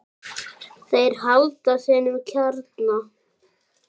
Þeir halda sínum kjarna.